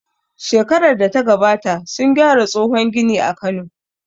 Shekarar data gabata sun gyara tsohon gini a Kano